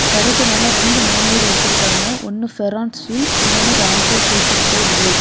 கடைக்கு மேல ரெண்டு நேம் போர்டு வச்சிருக்காங்க ஒன்னு ஃபேரான் ஸ்டில்ஸ் இன்னொன்னு ராம்கோ சூப்பர் கிரேட் போர்டு .